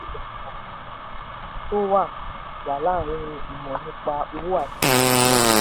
ogechi ṣàlàyé iyàtọ̀ tó wà wà láàárín ìmọ̀ nípa owó àti ìmọ̀ ẹ̀rọ.